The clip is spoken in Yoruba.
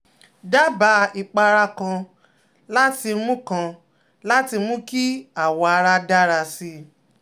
Daba ipara kan láti mú kan láti mú kí awọ ara dára sí i